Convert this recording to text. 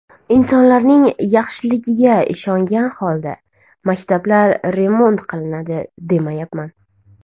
Insonlarning yaxshiligiga ishongan holda maktablar remont qilinadi, demayapman.